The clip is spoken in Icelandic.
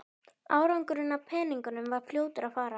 Afgangurinn af peningunum var fljótur að fara.